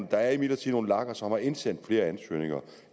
der er imidlertid nogle lager som har indsendt flere ansøgninger